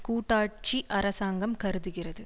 கூட்டாட்சி அரசாங்கம் கருதுகிறது